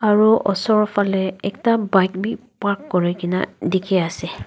aru osor phale ekta bike bhi park kori kina dekhi ase.